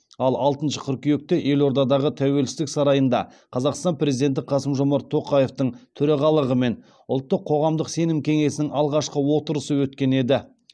ал алтыншы қыркүйекте елордадағы тәуелсіздік сарайында қазақстан президенті қасым жомарт тоқаевтың төрағалығымен ұлттық қоғамдық сенім кеңесінің алғашқы отырысы өткен еді